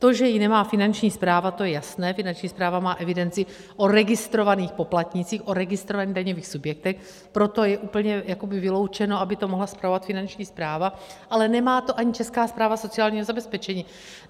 To že ji nemá Finanční správa, to je jasné, Finanční správa má evidenci o registrovaných poplatnících, o registrovaných daňových subjektech, proto je úplně vyloučeno, aby to mohla spravovat Finanční správa, ale nemá to ani Česká správa sociálního zabezpečení.